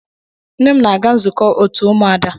Nne m na-aga nzukọ òtù umuada.